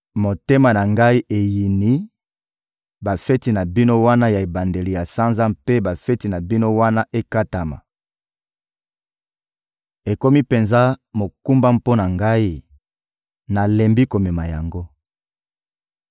Motema na Ngai eyini bafeti na bino wana ya ebandeli ya sanza mpe bafeti na bino wana ekatama. Ekomi penza mokumba mpo na Ngai, nalembi komema yango.